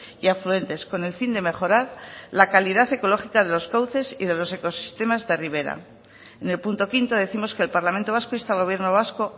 y afluentes con el fin de mejorar la calidad ecológica de los cauces y los ecosistemas de ribera en el punto quinto décimos que el parlamento vasco insta al gobierno vasco